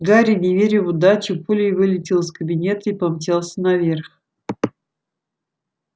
гарри не веря в удачу пулей вылетел из кабинета и помчался наверх